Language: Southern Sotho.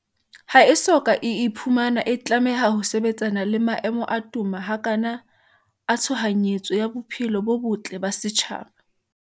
ha e so ka e iphumana e tlameha ho sebetsana le maemo a toma hakana a tshohanyetso ya bophelo bo botle ba setjhaba.